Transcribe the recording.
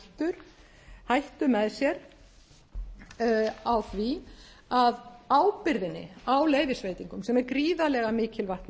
beri hættu með sér á því að ábyrgðinni á leyfisveitingunni sem er gríðarlega mikilvægt